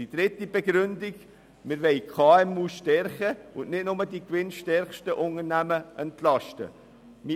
Die dritte Begründung liegt darin, dass wir die Kleinen und mittleren Unternehmen (KMU) stärken und nicht nur die gewinnstärksten Unternehmen entlasten wollen.